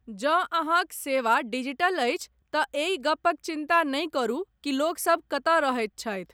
जँ अहाँक सेवा डिजिटल अछि तँ एहि गपक चिन्ता नहि करू कि लोकसभ कतय रहैत छथि।